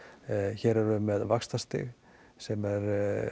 hér erum við með vaxtastig sem er